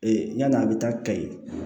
yann'a bɛ taa kayi